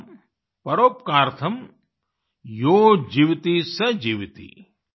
परम् परोपकारार्थम् यो जीवति स जीवति